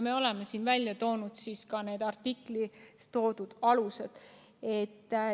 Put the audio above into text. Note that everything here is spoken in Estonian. Me oleme siin need artiklis esitatud alused juba välja toonud.